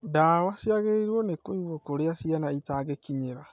Ndawa ciagĩriĩirwo nĩ kũigwo kũrĩa ciana itangĩkinyĩra